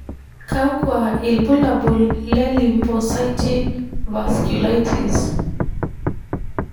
kakwa ibulabul le Lymphocytic vasculitis?